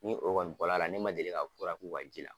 Ni o kɔni bɔra la ne ma deli ka fura k'u ka ji la.